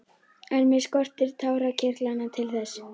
En mig skortir tárakirtlana til þess.